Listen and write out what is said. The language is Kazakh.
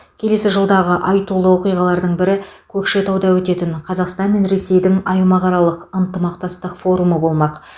келесі жылдағы айтулы оқиғалардың бірі көкшетауда өтетін қазақстан мен ресейдің аймақаралық ынтымақтастық форумы болмақ